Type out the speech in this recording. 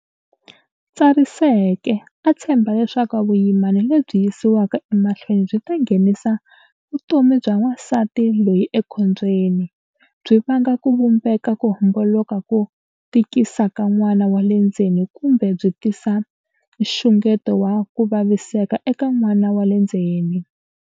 Tsariseke, a tshemba leswaku vuyimana lebyi yisiwaka emahlweni byi ta nghenisa vutomi bya wansati loyi ekhombyeni, byi vanga ku vumbeka ko homboloka ko tikisa ka n'wana wa le ndzeni kumbe byi tisa nxungeto wa ku vaviseka eka n'wana wa le ndzeni.